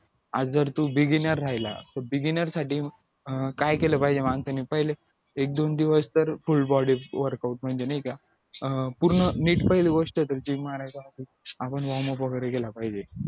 आज जर तू beginer राहिला तर beginer साठी अं काय केलं साठी माणसाने पहिले एक-दोन दिवस तर full body workout म्हणजे नाही का अं पूर्ण नीट पहिली गोष्ट तर आपण warm up वगैरे केला पाहिजे